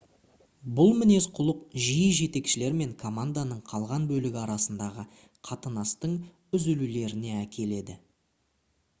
бұл мінез-құлық жиі жетекшілер мен команданың қалған бөлігі арасындағы қатынастың үзілулеріне әкеледі